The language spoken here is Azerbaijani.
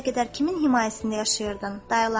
İndiyə qədər kimin himayəsində yaşayırdın?